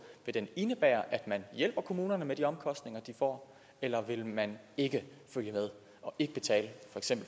indebære at man hjælper kommunerne med de omkostninger de får eller vil man ikke følge med og ikke betale